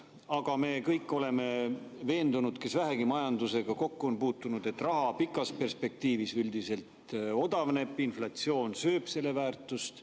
Aga me kõik oleme veendunud, kes vähegi majandusega kokku on puutunud, et raha pikas perspektiivis üldiselt odavneb, inflatsioon sööb selle väärtust.